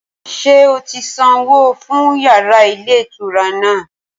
Ṣé o ti sanwó fún yàrá ilé ìtura náà?